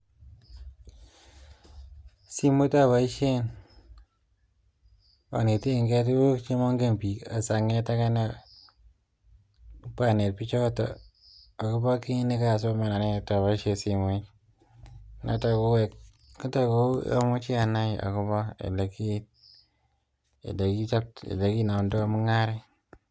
Simet aboishen anetegei tukun chemongen sikobit anet bik alak kou olekinomdoi mung'aret